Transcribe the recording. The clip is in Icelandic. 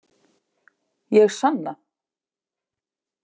Ég sanna.